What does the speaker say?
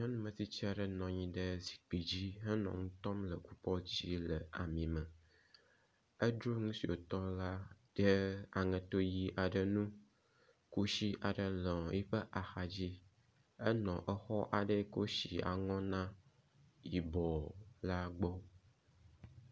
nyɔnu metstsiaɖe nɔnyi ɖe zikpi dzi henɔ nu tɔm le kupɔt dzi le amì me edro nusi wotɔla ɖe aŋeto ɣi aɖe nu kusi aɖe nɔ eƒe axadzi , enu exɔ aɖe si wó si aŋɔna yibɔɔ la gbɔ